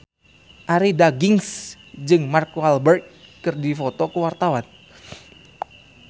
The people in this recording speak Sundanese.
Arie Daginks jeung Mark Walberg keur dipoto ku wartawan